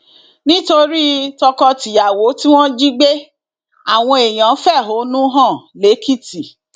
nítorí tọkọtìyàwó tí wọn jí gbé àwọn èèyàn fẹhónú hàn lẹkìtì